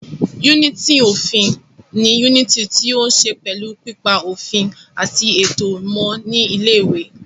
Yúnìtì òfin ni yúnìtì tí ó ní ṣe pẹ̀lú pípa òfin àti ètò mọ́ ní ilé ìwé